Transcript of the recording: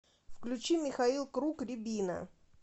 включи михаил круг рябина